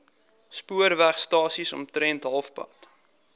spoorwegstasie omtrent halfpad